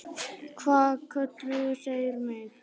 Hvað kölluðu þeir mig?